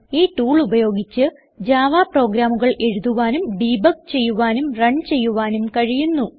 ഈ ടൂൾ ഉപയോഗിച്ച് ജാവ പ്രോഗ്രാമുകൾ എഴുതുവാനും ഡെബഗ് ചെയ്യുവാനും റൺ ചെയ്യുവാനും കഴിയുന്നു